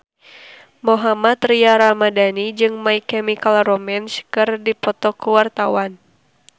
Mohammad Tria Ramadhani jeung My Chemical Romance keur dipoto ku wartawan